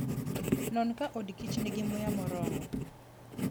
Non ka odkich nigi muya moromo.